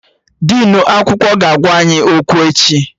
Dinu akwụkwọ ga-agwa anyị okwu echi